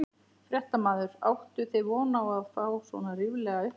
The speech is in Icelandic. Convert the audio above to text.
Fréttamaður: Áttuð þið von á að fá svona ríflega upphæð?